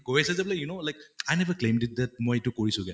you know like i never claimed it মই এইটো কৰিছোগে